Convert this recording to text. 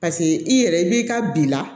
Paseke i yɛrɛ i b'i ka bi la